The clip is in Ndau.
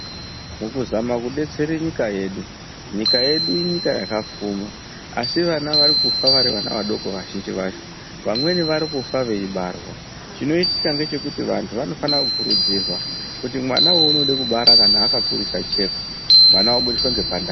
Mukuzama kudetsere nyika yedu, nyika yedu inyika yakapfuma asi vana varikufa vari vana vadoko vazhinji vacho vamweni varikufa veibarwa. Chinoitika ngechekuti vantu vanofana kukurudzirwa kuti mwana waunode kubara kana akakurisa chekwa. Mwana obudiswa ngepandani.